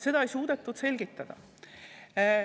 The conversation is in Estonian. Seda ei suudetud selgitada.